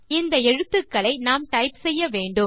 இந்த எழுத்துக்களை நாம் டைப் செய்ய வேண்டும்